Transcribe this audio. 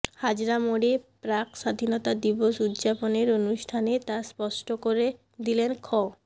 হাজরা মোড়ে প্রাক স্বাধীনতা দিবস উদযাপনের অনুষ্ঠানে তা স্পষ্ট করে দিলেন খ